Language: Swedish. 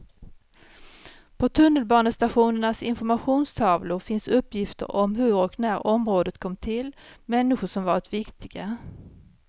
På tunnelbanestationernas informationstavlor finns uppgifter om hur och när området kom till, människor som varit viktiga.